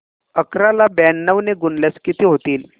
अकरा ला ब्याण्णव ने गुणल्यास किती होतील